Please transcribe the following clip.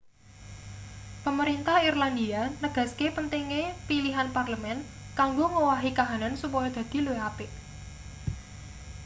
pemerintah irlandia negaske pentinge pilihan parlemen kanggo ngowahi kahanan supaya dadi luwih apik